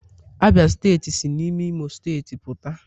Abia steeti si n'ime imo steeti puta